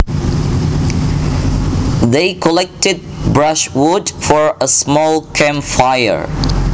They collected brushwood for a small camp fire